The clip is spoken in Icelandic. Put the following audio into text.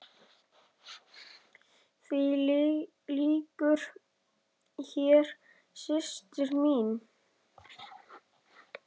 Því lýkur hér, systir mín.